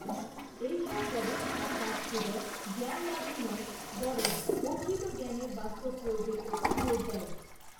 এইসব গবেষণার কাজ কেবল জ্ঞানলাভই নয়, বরং অর্জিত জ্ঞানের বাস্তব প্রয়োগের ওপর জোর দেয়।